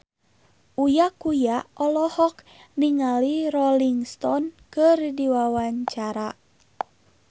Uya Kuya olohok ningali Rolling Stone keur diwawancara